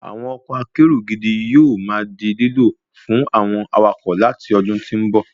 Àwọn ọkọ̀ akérò gidi yóò ma di lílò fún àwọn awakọ̀ láti ọdún tó ń bọ̀